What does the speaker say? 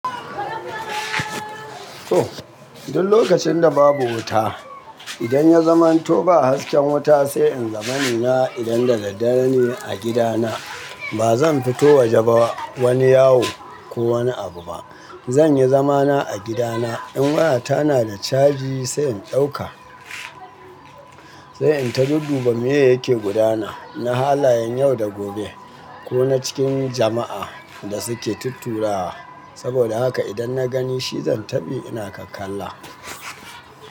To, duk lokacin da babu wuta, idan ya zamanto ba hasken wuta sai in zama ni na idan daddare ne a gida na. Ba zan fito waje ba wani yawo ko wani abu ba. Zan yi zamana a gida na. In waya ta na da caji sai in dauka, sai in ta dudduba meye yake gudana na halayen yau da gobe ko na cikin jama’a da suke tutturawa saboda haka idan na gani shi zan taɓi ina kakkalla.